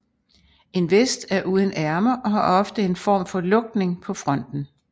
En vest er uden ærmer og har ofte en form for lukning på fronten